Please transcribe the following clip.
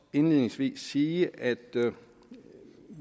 indledningsvis sige at vi jo